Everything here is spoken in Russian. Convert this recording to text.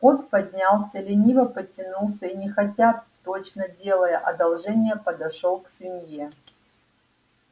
кот поднялся лениво потянулся и нехотя точно делая одолжение подошёл к свинье